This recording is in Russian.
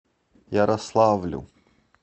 ярославлю